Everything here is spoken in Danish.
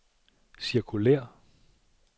cirkulér